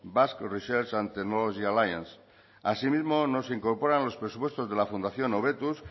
basque research and technology alliance así mismo no se incorporan los presupuestos de la fundación hobetuz